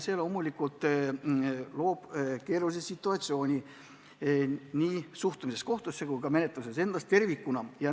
See loomulikult loob keerulise situatsiooni, mis mõjutab suhtumist kohtusse kui ka menetlusi ennast.